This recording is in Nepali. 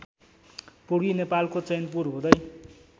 पूर्वी नेपालको चैनपुर हुदै